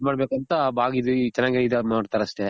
ಇದ್ ಮಾಡ್ ಬೇಕಂತ ಇ ಚೆನಾಗಿದಾರ್ ನೋಡ್ತಾರ್ ಅಷ್ಟೆ.